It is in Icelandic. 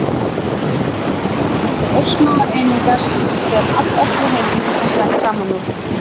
öreindir eru örsmáar einingar sem allt efni í heiminum er sett saman úr